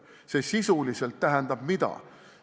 Mida see sisuliselt tähendab?